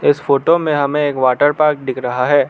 इस फोटो में हमें एक वाटर पार्क दिख रहा है।